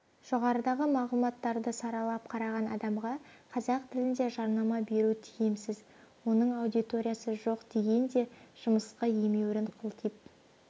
жоғарыдағы мағлұматтарды саралап қараған адамға қазақ тілінде жарнама беру тиімсіз оның аудиториясы жоқ деген де жымысқы емеурін қылтиып